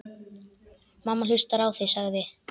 Mamma hlustar á þig, sagði